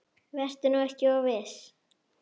Vertu nú ekki of viss.